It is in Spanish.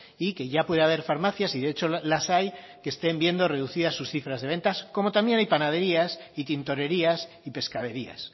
y que ya puede haber farmacias y de hecho las hay que estén viendo reducidas sus cifras de ventas como también hay panaderías y tintorerías y pescaderías